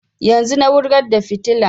Yanzun na wurgar da fitilan